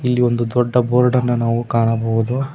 ಒಂದು ದೊಡ್ಡದಾದ ಬೋರ್ಡ್ ಅನ್ನ ಕಾಣಬಹುದು.